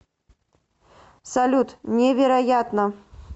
салют невероятно